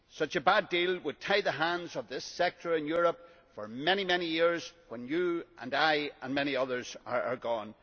A bad deal would tie the hands of this sector in Europe for many, many years when you and I and many others are gone.